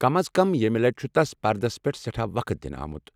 كم از كم ییمہِ لٕٹہِ چُھ تس پردس پیٹھ سیٹھاہ وقت دنہٕ آمُت۔